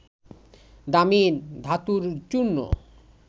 দামি ধাতুর চূর্ণ